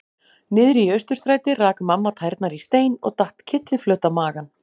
Niðri í Austurstræti rak mamma tærnar í stein og datt kylliflöt á magann.